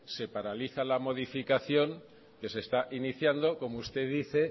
se paraliza la modificación que se está iniciando como usted dice